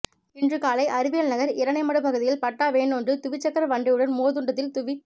இன்று காலை அறிவியல்நகர் இரனைமடுப்பகுதியில் பட்டா வேன் ஒன்று துவிச்சக்கர வண்டியுடன்மோதுண்டதில் துவிச்